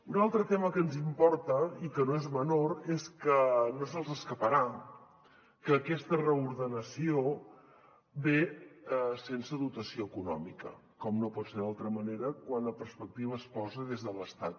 un altre tema que ens importa i que no és menor és que no se’ls escaparà que aquesta reordenació ve sense dotació econòmica com no pot ser d’altra manera quan la perspectiva es posa des de l’estat